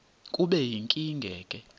kube yinkinge ke